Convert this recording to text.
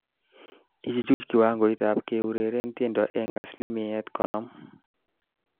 Ichuch kiwangoitab keureren tiendo eng asilimiat konom